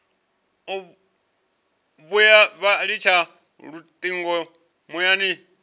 vhuya vha litsha lutingo muyani